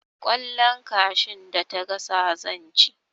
Kwallon kashun da ta gasa zan ci